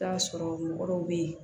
Taa sɔrɔ mɔgɔ dɔw be yen